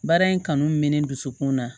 Baara in kanu mɛ ne dusukun na